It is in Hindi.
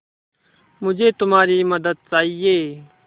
मुझे तुम्हारी मदद चाहिये